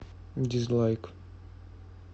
дизлайк